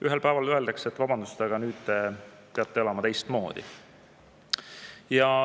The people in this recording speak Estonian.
Ühel päeval öeldakse, et vabandust, aga nüüd te peate elama teistmoodi.